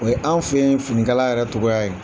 Anw fɛ yen fini kala yɛrɛ togoya ye.